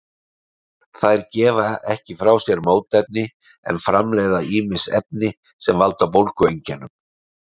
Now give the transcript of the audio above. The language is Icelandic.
þær gefa ekki frá sér mótefni en framleiða ýmis efni sem valda bólgueinkennum